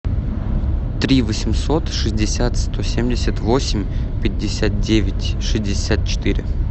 три восемьсот шестьдесят сто семьдесят восемь пятьдесят девять шестьдесят четыре